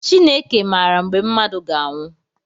Chineke maara mgbe mmadụ ga anwụ.